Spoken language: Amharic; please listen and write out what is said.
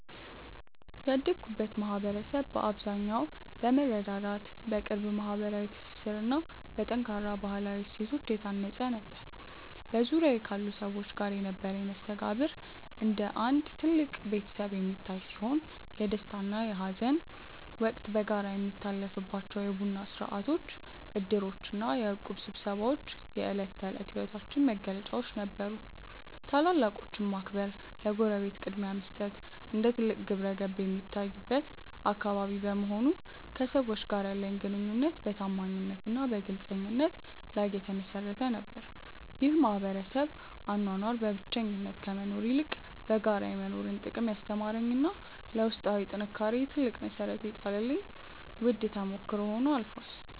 ያደግኩበት ማኅበረሰብ በአብዛኛው በመረዳዳት፣ በቅርብ ማኅበራዊ ትስስርና በጠንካራ ባሕላዊ እሴቶች የታነፀ ነበር። በዙሪያዬ ካሉ ሰዎች ጋር የነበረኝ መስተጋብር እንደ አንድ ትልቅ ቤተሰብ የሚታይ ሲሆን፣ የደስታና የሐዘን ወቅት በጋራ የሚታለፍባቸው የቡና ሥርዓቶች፣ ዕድሮችና የእቁብ ስብሰባዎች የዕለት ተዕለት ሕይወታችን መገለጫዎች ነበሩ። ታላላቆችን ማክበርና ለጎረቤት ቅድሚያ መስጠት እንደ ትልቅ ግብረገብ የሚታይበት አካባቢ በመሆኑ፣ ከሰዎች ጋር ያለኝ ግንኙነት በታማኝነትና በግልጽነት ላይ የተመሠረተ ነበር። ይህ የማኅበረሰብ አኗኗር በብቸኝነት ከመኖር ይልቅ በጋራ የመኖርን ጥቅም ያስተማረኝና ለውስጣዊ ጥንካሬዬ ትልቅ መሠረት የጣለልኝ ውድ ተሞክሮ ሆኖ አልፏል።